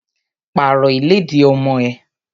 Pàrọ̀ ìlẹ́dì ọmọ ẹ!